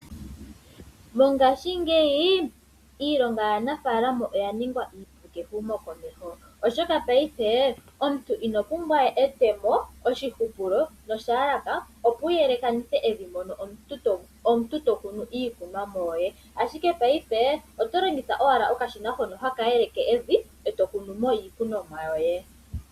Mongashingeyi iilonga yaanafaalama oya ningwa iipu kehumokomeho oshoka paife omuntu inopumbwa we etemo, oshihupulo noshiyalaka opo wuyelekanithe evi mono omuntu to kunu iikunomwa yoye ashike paife otolongitha owala okashina hono haka yelekanitha evi e to kunu mo iikunomwa yoye.